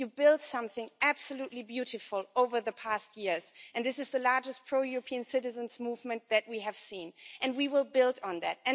You built something absolutely beautiful over the past years and this is the largest pro European citizens' movement that we have seen, and we will build on that.